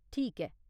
ठीक ऐ !